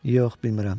Yox, bilmirəm.